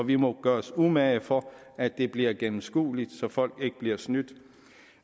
vi må gøre os umage for at det bliver gennemskueligt så folk ikke bliver snydt